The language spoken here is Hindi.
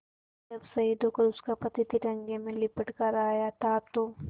जब शहीद होकर उसका पति तिरंगे में लिपट कर आया था तो